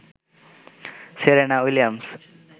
Serena Williams